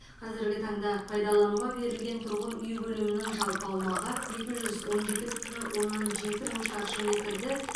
қазіргі таңда пайдалануға берілген тұрғын үй көлемінің жалпы аумағы екі жүз он жеті бүтін оннан жеті мың шаршы метрді